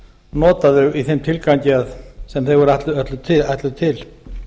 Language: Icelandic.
nota þau í þeim tilgangi sem þau eru ætluð til